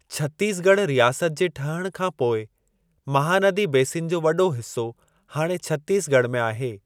छत्तीसॻढ़ रियासत जे ठहण खां पोइ, महानदी बेसिन जो वॾो हिसो हाणे छत्तीसॻढ़ में आहे।